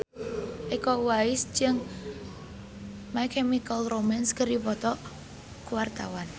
Iko Uwais jeung My Chemical Romance keur dipoto ku wartawan